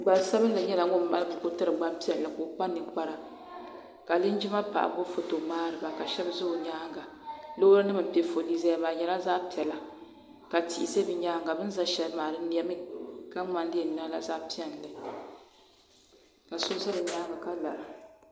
Gbansabinli nyɛla ŋun mali buku tiri gbampiɛlli ka o kpa ninkpara ka linjima paɣa gbubi foto ŋmaari ba ka shɛba ʒe o nyaaŋa loorinima m-pe foolii zaya maa bɛ nyɛla zaɣ'piɛla ka tihi ʒe bɛ nyaaŋa bɛ ni za shɛli maa di nemi ka ŋmani di yɛn niŋla zaɣ'piɛlli ka so za bɛ nyaaŋa ka lara.